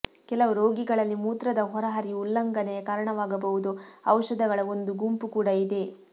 ಕೆಲವು ರೋಗಿಗಳಲ್ಲಿ ಮೂತ್ರದ ಹೊರಹರಿವು ಉಲ್ಲಂಘನೆಯ ಕಾರಣವಾಗಬಹುದು ಔಷಧಗಳ ಒಂದು ಗುಂಪು ಕೂಡ ಇದೆ